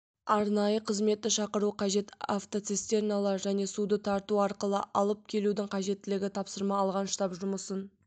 арнайы қызметті шақыру қажет автоцистерналар және суды тарту арқылы алып келудің қажеттілігі тапсырма алған штаб жұмысын